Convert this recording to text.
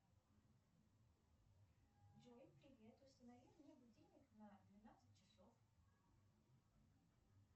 джой привет установи мне будильник на двенадцать часов